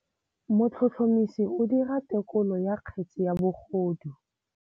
Motlhotlhomisi o dira têkolô ya kgetse ya bogodu.